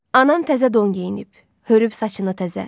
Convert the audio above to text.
Anam təzə don geyinib, hörüb saçını təzə.